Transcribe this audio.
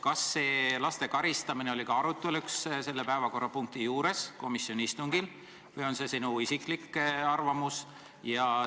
Kas see laste karistamine oli ka arutelu all selle päevakorrapunkti puhul komisjoni istungil või on see sinu isiklik arvamus?